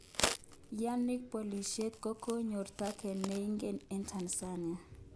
Yannick Bolassie kokonyor taget neinegen eng Tanzania.